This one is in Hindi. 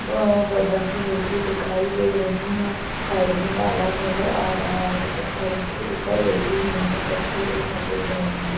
व्हह बढख़े बैठी दिखाई दे रही हैं साइड में तालाब नजर आ रहा है पत्थरों के ऊपर बैठी हुई हैं कत्थई और सफेद रंग की--